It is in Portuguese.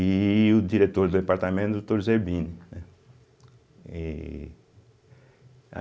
E o diretor do departamento, doutor Zerbini, né êh.